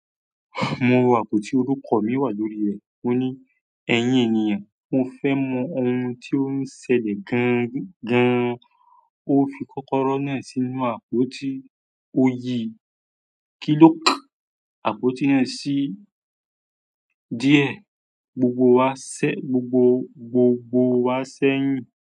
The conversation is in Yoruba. Mo wo àpò tí orúkọ mi wà lórí rẹ̀. Mo ní, "Ẹ̀yin ènìyàn, mo fẹ́ mọ ohun tí ó ń ṣẹlẹ̀ gan-an." Ó fi kọ́kọ́rọ́ náà sínú àpótí, ó yí kílókì àpótí náà sí díẹ̀, gbogbo wa ṣẹ̀, gbogbo, gbogbo wa ṣẹ̀yìn.